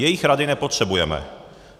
Jejich rady nepotřebujeme.